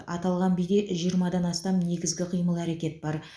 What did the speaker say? аталған биде жиырмадан астам негізгі қимыл әрекет бар